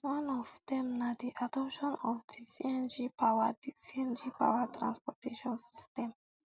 one of um dem na di adoption um of di cngpowered di cngpowered transportation system